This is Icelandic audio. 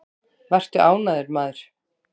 Vertu ánægður, maður!